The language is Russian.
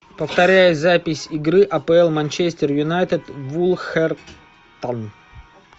повторяй запись игры апл манчестер юнайтед вулверхэмптон